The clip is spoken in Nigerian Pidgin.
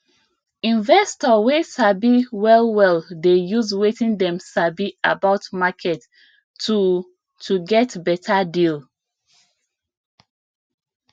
investor wey sabi well well dey use wetin dem sabi about market to to get better deal